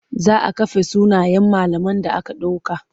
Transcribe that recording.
Za a kafe sunayen malaman da aka ɗauka.